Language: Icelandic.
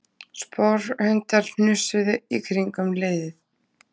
Sporhundar hnusuðu í kringum hliðið